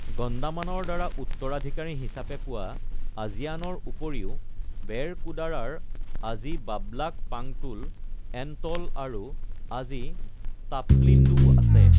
গণ্ডামানৰ দ্বাৰা উত্তৰাধিকাৰী হিচাপে পোৱা আজিয়ানৰ উপৰিও, ৱেৰকুদাৰাৰ আজি ব্লাবাক পাংটোল-এণ্ট'ল আৰু আজি টাপলিন্দুও আছে।